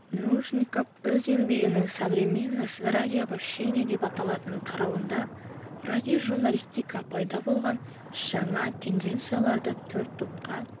нружников өз еңбегінің современность радиовещания деп аталатын тарауында радиожурналистикада пайда болған жаңа тенденцияларды төрт топқа